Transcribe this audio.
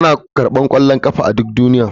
Ana karɓar ƙwallon ƙafa a duk duniya.